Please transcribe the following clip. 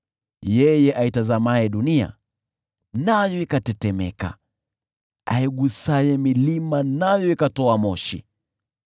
yeye aitazamaye dunia, nayo ikatetemeka, aigusaye milima, nayo ikatoa moshi.